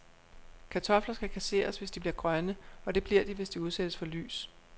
Kartofler skal kasseres, hvis de bliver grønne, og det bliver de, hvis de udsættes for lys.